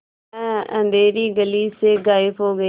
वह अँधेरी गली से गायब हो गए